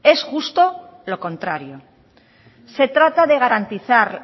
es justo lo contrario se trata de garantizar